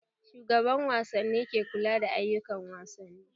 Shugaban wasanni ke kula da ayukan wasanni